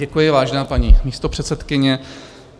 Děkuji, vážená paní místopředsedkyně.